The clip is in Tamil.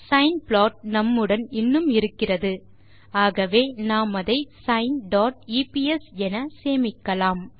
சைன் ப்ளாட் நம்முடன் இன்னும் இருக்கிறது ஆகவே நாம் அதை சைன் டாட் எப்ஸ் என சேமிக்கலாம்